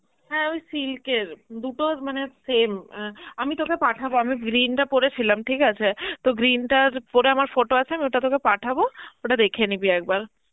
হ্যাঁ ওই silk এর, দুটো মানে same অ্যাঁ আমি তোকে পাঠাবো আমি green টা পড়েছিলাম ঠিক আছে, তো green টা পরে আমার photo আছে আমি ওটা তোকে পাঠাবো, ওটা দেখে নিবি একবার.